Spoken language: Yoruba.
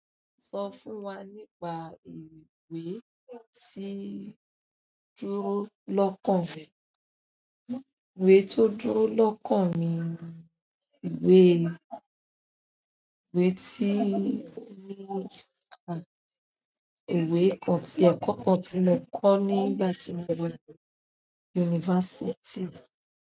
Sọ fún wa nípa ìwé tí dúró lọ́kàn rẹ. Ìwé tó dúró lọ́kàn mi ni ìwé, ìwé tí ní ká, ìwé ọ̀tí ọkọ̀ tí mo kọ́ nígbà tí mo wẹ̀ university.